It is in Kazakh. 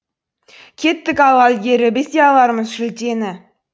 кеттік алға ілгері біз де алармыз жүлдені